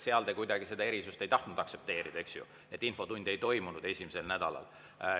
Seal te kuidagi seda erisust ei tahtnud aktsepteerida, eks ju, et infotundi ei toimunud esimesel nädalal.